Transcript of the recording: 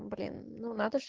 блин ну надо ж